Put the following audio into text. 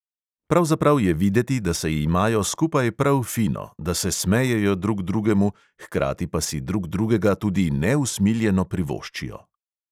Pravzaprav je videti, da se imajo skupaj prav fino, da se smejejo drug drugemu, hkrati pa si drug drugega tudi neusmiljeno privoščijo.